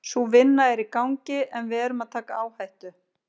Ég hef ekki enn svarað því játandi eða neitandi hvort það gerist.